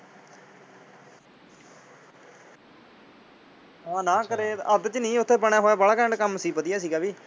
ਆ ਨਾ ਕਰੇ ਅੱਧ ਚ ਨਹੀ। ਉੱਥੇ ਬਣਿਆ ਹੋਇਆ ਵਾਲਾ ਘੈਂਟ ਕੰਮ ਸੀ। ਵਧੀਆ ਸੀ ਗਾ ਵੀ।